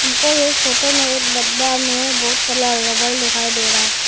हमको ये फोटो में एक डब्बा में बहुत सारा रबड़ दिखाई दे रहा है।